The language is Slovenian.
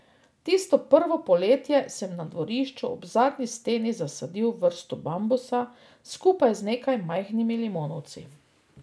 Tisto prvo poletje sem na dvorišču ob zadnji steni zasadil vrsto bambusa, skupaj z nekaj majhnimi limonovci.